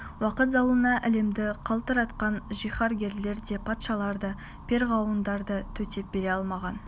уақыт зауалына әлемді қалтыратқан жиһангерлер де патшалар да перғауындар да төтеп бере алмаған